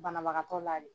Banabagatɔ la de